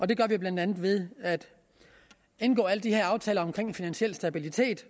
det gør vi blandt andet ved at indgå alle de her aftaler om finansiel stabilitet